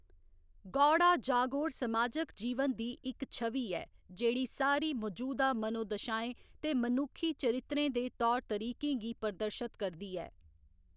गौड़ा जागोर समाजिक जीवन दी इक छवि ऐ, जेह्‌‌ड़ी सारी मजूदा मनोदशाएं ते मनुक्खी चरित्रें दे तौर तरीकें गी प्रदर्शत करदी ऐ।